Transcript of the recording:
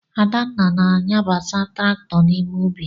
Adanna na-anyabata traktọ n'ime ubi.